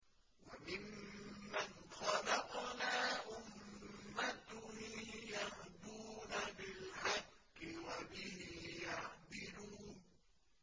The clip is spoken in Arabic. وَمِمَّنْ خَلَقْنَا أُمَّةٌ يَهْدُونَ بِالْحَقِّ وَبِهِ يَعْدِلُونَ